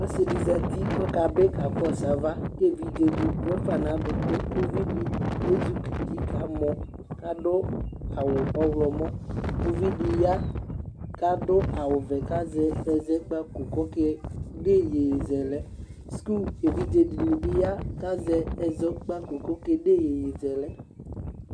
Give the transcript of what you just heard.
Ɔsɩ dɩ zǝtɩ kʋ ɔkabɩ ka kɔsʋ ava, kʋ evidze dɩ ɔvlɛ fa nʋ aduku Uvi dɩ ezikɔ uti ka mɔ, kʋ adu aɣʋ ɔɣlɔmɔ Uvi dɩ ya kʋ adʋ aɣʋ ɔvɛ kʋ azɛ ɛzɛkpako kʋ ɔka ede iyeyezɛlɛ Suku evidze dɩnɩ bɩ ya, kʋ azɛ ɛzɛkpako kʋ aka ede iyeyezɛlɛ